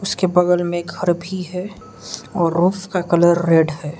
इसके बगल में घर भी है और रूफ का कलर रेड है।